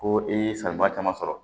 Ko i ye sariba caman sɔrɔ